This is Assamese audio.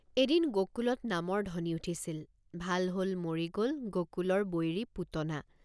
এদিন গোকুলত নামৰ ধ্বনি উঠিছিল ভাল হল মৰি গল গোকুলৰ বৈৰী পুতনা।